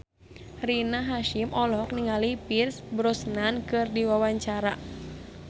Rina Hasyim olohok ningali Pierce Brosnan keur diwawancara